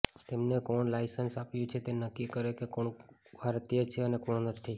તેમને કોણે લાયસન્સ આપ્યું છે તે નક્કી કરે કે કોણ ભારતીય છે અને કોણ નથી